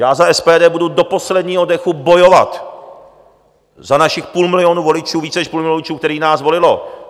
Já za SPD budu do posledního dechu bojovat za našich půl milionu voličů, více než půl milionu voličů, kteří nás volili.